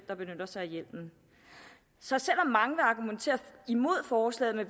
der benytter sig af hjelmen så selv om mange vil argumentere imod forslaget med